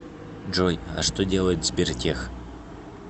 джой а что делает сбертех